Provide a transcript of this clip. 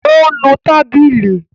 Ó nu tábìlì.